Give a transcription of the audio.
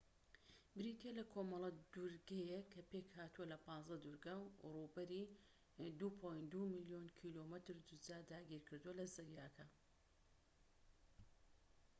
بریتیە لە کۆمەڵە دورگەیەك کە پێکهاتووە لە ١٥ دورگە و ڕووبەری ٢.٢ ملیۆن کیلۆمەتر دووجا داگیرکردووە لە زەریاکە